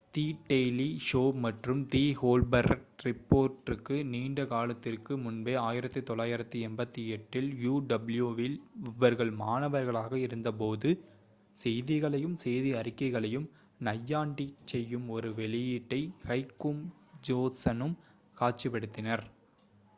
தி Daily Show மற்றும் the Colbert ரிப்போர்ட்டுக்கு நீண்ட காலத்திற்கு முன்பே 1988 இல் uw இல் அவர்கள் மாணவர்களாக இருந்தபோது செய்திகளையும் செய்தி அறிக்கைகளையும் நையாண்டிச் செய்யும் ஒரு வெளியீட்டை ஹெக்கும் ஜோன்சனும் காட்சிப்படுத்தினர்